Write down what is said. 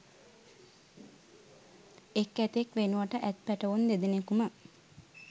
එක් ඇතෙක් වෙනුවට ඇත් පැටවුන් දෙදෙනෙකුම